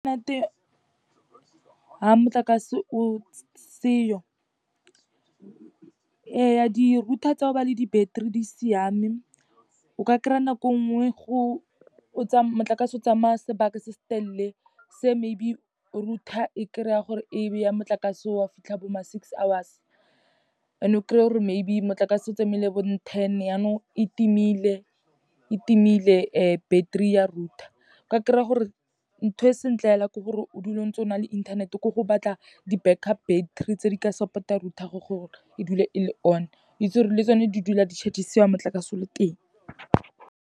Ha motlakase o seyo. Ee, di-router tsa ho ba le di-battery di siame. O ka kry-a nako nngwe motlakase o tsamaya sebaka se se telele, se maybe router e kry-a gore e bea motlakase wa o fitlha bo ma six hours and-e o kry-e gora maybe motlakase, o tsamaile bo ten yanong e timile, battery ya router. Ka kry-a gore ntho e sentle fela, ke gore o dule o ntse o na le inthanete ke go batla di-backup battery, tse di ka support-ang router gago gore e dule e le on. Witse le gore le tsone di dula di-charge-isiwa motlakase o le teng.